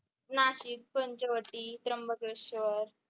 Nashik Panchavati Trimbakeshwar